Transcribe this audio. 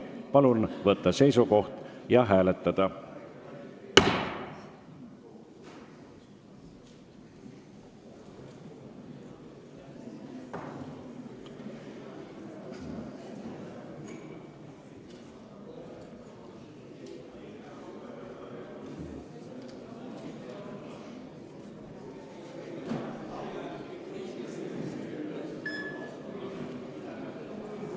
Palun võtta seisukoht ja hääletada!